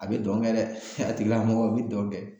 A bɛ dɔn kɛ dɛ a tigila mɔgɔ u bi don kɛ.